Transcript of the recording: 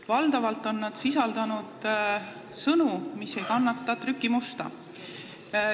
Valdavalt on need sisaldanud sõnu, mis ei kannata trükimusta.